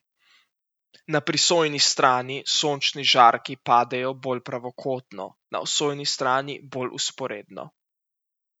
Na prisojni strani sončni žarki padajo bolj pravokotno, na osojni strani bolj vzporedno.